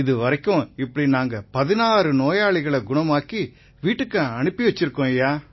இதுவரைக்கும் இப்படி நாங்க 16 நோயாளிகளை குணமாக்கி வீட்டுக்கு அனுப்பி வச்சிருக்கோம்